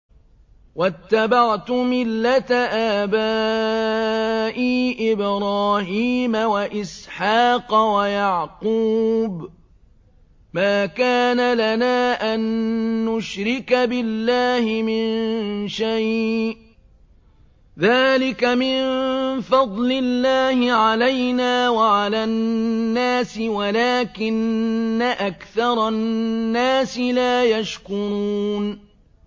وَاتَّبَعْتُ مِلَّةَ آبَائِي إِبْرَاهِيمَ وَإِسْحَاقَ وَيَعْقُوبَ ۚ مَا كَانَ لَنَا أَن نُّشْرِكَ بِاللَّهِ مِن شَيْءٍ ۚ ذَٰلِكَ مِن فَضْلِ اللَّهِ عَلَيْنَا وَعَلَى النَّاسِ وَلَٰكِنَّ أَكْثَرَ النَّاسِ لَا يَشْكُرُونَ